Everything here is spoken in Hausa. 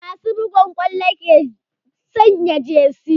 Masu buga ƙwallo ke sanya jesi